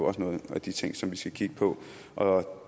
også nogle af de ting som vi skal kigge på